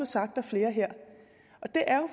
sagt af flere her og det er